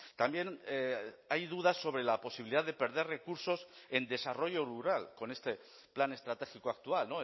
también hay dudas sobre la posibilidad de perder recursos en desarrollo rural con este plan estratégico actual